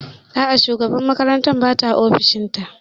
A'a, shugabar makarantar bata ofishin ta